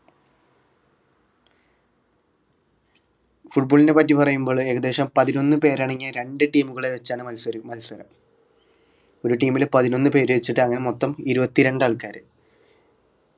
football നെ പറ്റി പറയുമ്പോൾ ഏകദേശം പതിനൊന്ന് പേരടങ്ങിയ രണ്ട് team കളെ വെച്ചാണ് മത്സരി മത്സരം ഒരു team ൽ പതിനൊന്ന് പേരെവെച്ച് അങ്ങനെ മൊത്തം ഇരുപത്തിരണ്ട് ആൾക്കാർ